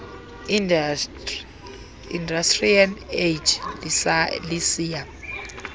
industrial age lisiya